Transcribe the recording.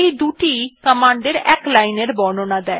দুটি ই কমান্ডের এক লাইন এর বর্ণনা দেয়